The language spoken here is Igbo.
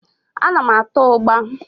Ana m ata ụgbá.